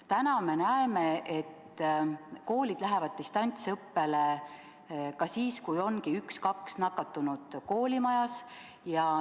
Täna me näeme, et koolid lähevad distantsõppele ka siis, kui on vaid üks-kaks nakatunut koolimajas.